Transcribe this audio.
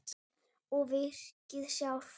Og virkið sjálft?